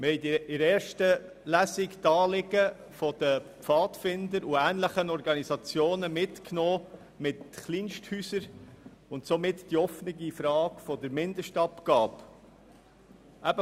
Aus der ersten Lesung haben wir die Anliegen der Pfadfinder und ähnlicher Organisationen, was Kleinsthäuser angeht, und somit die offene Frage der Mindestabgabe, mitgenommen.